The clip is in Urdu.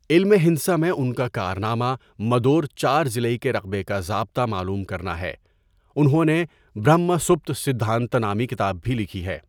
علم ہندسہ میں انکا کارنامہ مدور چار ضلعی کے رقبے کا ضابطہ معلوم کرنا ہے انہوں نے برہما سُپتا سٍدھانتا نامی کتاب بھی لکھی ہے